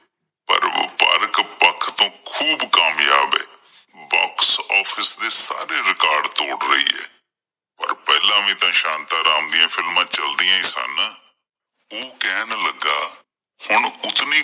ਪਰ ਵਪਾਰਕ ਪੱਖ ਤੋਂ ਖੂਬ ਕਾਮਯਾਬ ਏ Box office ਦੇ ਸਾਰੇ record ਤੋੜ ਰਹੀ ਏ, ਪਰ ਪਹਿਲਾਂ ਵੀ ਤਾਂ ਸ਼ਾਂਤਾਂ ਰਾਮ ਦੀਆਂ films ਚਲਦਿਆਂ ਹੀ ਸਨ। ਉਹ ਕਹਿਣ ਲੱਗਾ ਹੁਣ ਉਤਨੀ